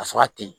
Ka sɔrɔ a te yen